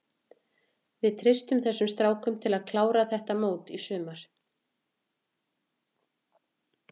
Við treystum þessum strákum til að klára þetta mót í sumar.